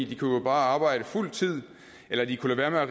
de kunne jo bare arbejde fuld tid eller de kunne lade være